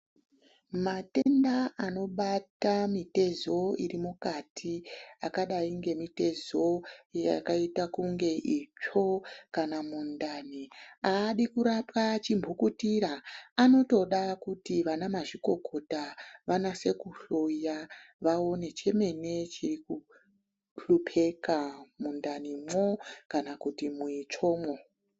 Matenda anobata mitezo iri mukati akadai ngemitezo yakaita kunge itsvo kana mundani aadi kurapwa chimbukutira anotoda kuti vanamazvikokota wanase kuhloya waone chemene chiri kuhlupeka mundanimwo kana kuti muitsvomwo.